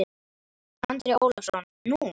Andri Ólafsson: Nú?